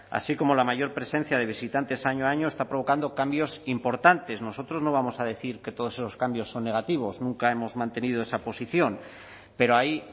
así como la mayor presencia de visitantes año a año está provocando cambios importantes nosotros no vamos a decir que todos esos cambios son negativos nunca hemos mantenido esa posición pero hay